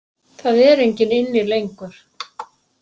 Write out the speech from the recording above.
Það er enginn inni lengur.